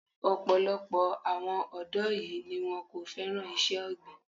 Ọ̀pọ̀lọpọ̀ àwọn ọ̀dọ́ yìí ni wón kò féràn iṣẹ́ ọ̀gbìn.